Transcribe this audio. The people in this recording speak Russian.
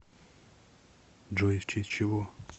джой в честь чего